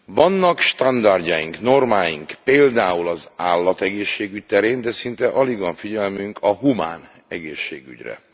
Vannak standardjaink, normáink például az állategészségügy terén, de szinte alig van figyelmünk a humán egészségügyre.